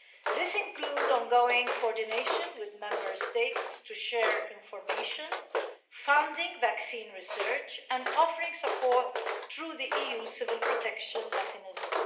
This includes ongoing coordination with Member States to share information, funding vaccine research and offering support through the EU Civil Protection Mechanism.